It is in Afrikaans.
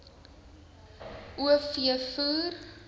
o v voer